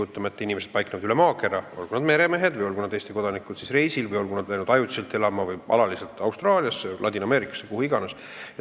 Kujutame ette neid inimesi, kes paiknevad üle maakera, olgu nad meremehed, reisil olevad Eesti kodanikud või inimesed, kes on läinud ajutiselt või alaliselt elama Austraaliasse, Ladina-Ameerikasse, kuhu iganes.